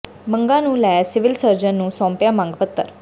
ਮੰਗਾਂ ਨੂੰ ਲੈ ਸਿਵਲ ਸਰਜਨ ਨੂੰ ਸੌਂਪਿਆ ਮੰਗ ਪੱਤਰ